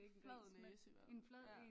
Flad næse i hvert fald